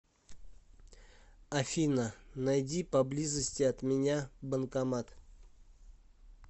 афина найди поблизости от меня банкомат